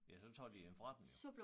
Ja så tager de dem fra dem jo